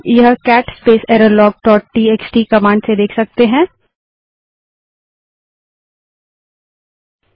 हम यह cat space error log dot TXT cat space error log dot TXT command से देख सकते हैं